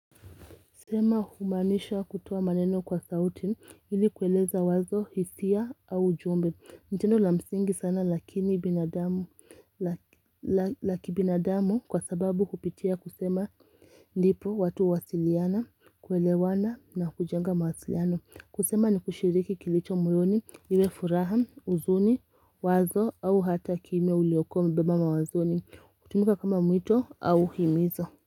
Sema humaanisha kutoa maneno kwa sauti ili kueleza wazo hisia au ujumbe. Ni tendo la msingi sana lakini binadamu, la kibinadamu kwa sababu kupitia kusema ndipo watu huwasiliana, kuelewana na kujenga mawasiliano. Kusema ni kushiriki kilicho moyoni, iwe furaha, huzuni, wazo au hata kimya uliokuwa umebeba mawazoni. Hutumika kama mwito au himizo.